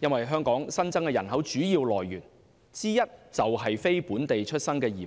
因為香港新增人口的主要來源之一，就是非本地出生的移民。